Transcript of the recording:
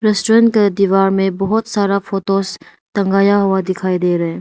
Restaurant के दीवार में बहुत सारा फोटोज टंगाया हुआ दिखाई दे रहा है।